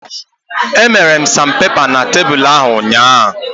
Emere sanpepa na tebulu ahụ ụnyaahụ